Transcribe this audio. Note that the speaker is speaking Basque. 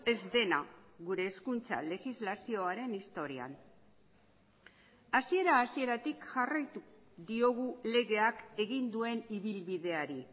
ez dena gure hezkuntza legislazioaren historian hasiera hasieratik jarraitu diogu legeak egin duen ibilbideari